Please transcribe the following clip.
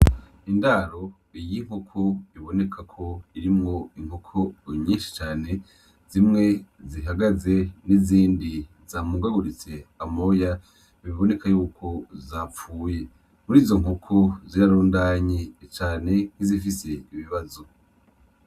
Indaro y'inkoko ibonekako irimwo inkoko nyinshi cane zimwe zihagaze nizindi zamungaguritse amoya biboneka yuko zapfuye murizo nkoko zirarundanye cane nkizifise ibibazo